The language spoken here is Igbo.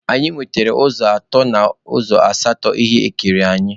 Anyị nwetere ụzọ atọ n'ụzọ asatọ ihe ekere anyị.